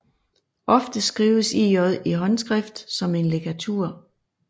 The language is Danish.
Ofte skrives ĳ i håndskrift som en ligatur